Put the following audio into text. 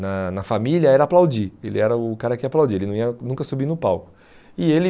na na família era aplaudir, ele era o cara que ia aplaudir, ele não ia nunca subir no palco. E ele